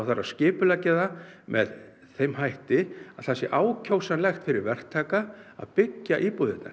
skipuleggja það með þeim hætti að það sé ákjósanlegt fyrir verktaka að byggja íbúðirnar